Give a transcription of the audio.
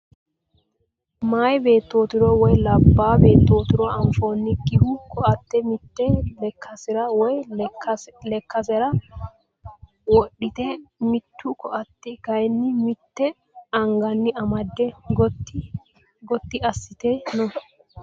Meyaa beettotiro woyi labbaa beettotiro anfoyiikkihu koatte mitte lekkasira woyi lekkasera wodhite mitte koatte kayii mitte anganni amadde Gotti assite no.